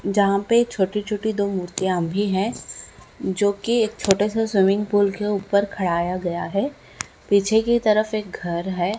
जहा पे छोटी-छोटी दो मूर्तिया भी है जो की एक छोटासा स्विमिंग पूल के ऊपर खडाया गया है पीछे की तरफ़ एक घर है।